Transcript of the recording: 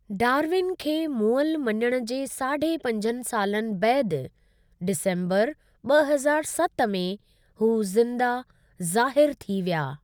Darwin खे मुअल मञणि जे साढे पंजनि सालनि बैदि, डिसम्बर ॿ हज़ारु सत में हू ज़िन्दा ज़ाहिरु थी विया।